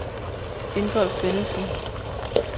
Ingolf Bennetsen